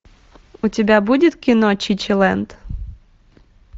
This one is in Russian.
у тебя будет кино чичилэнд